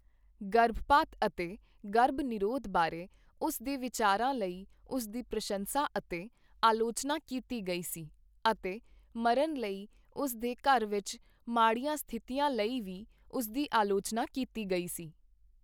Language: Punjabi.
ਗਰਭਪਾਤ ਅਤੇ ਗਰਭ ਨਿਰੋਧ ਬਾਰੇ ਉਸ ਦੇ ਵਿਚਾਰਾਂ ਲਈ ਉਸ ਦੀ ਪ੍ਰਸ਼ੰਸਾ ਅਤੇ ਆਲੋਚਨਾ ਕੀਤੀ ਗਈ ਸੀ, ਅਤੇ ਮਰਨ ਲਈ ਉਸ ਦੇ ਘਰ ਵਿੱਚ ਮਾੜੀਆਂ ਸਥਿਤੀਆਂ ਲਈ ਵੀ ਉਸ ਦੀ ਆਲੋਚਨਾ ਕੀਤੀ ਗਈ ਸੀ।